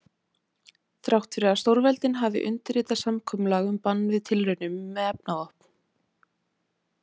Þrátt fyrir að stórveldin hafi undirritað samkomulag um bann við tilraunum með efnavopn.